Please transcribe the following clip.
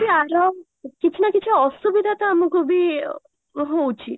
କିଛି ନା କିଛି ଅସୁବିଧା ତ ଆମକୁ ବି ହଉଚି